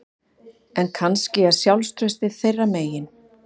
En kannski er sjálfstraustið þeirra megin